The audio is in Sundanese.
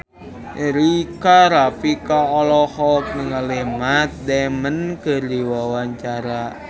Rika Rafika olohok ningali Matt Damon keur diwawancara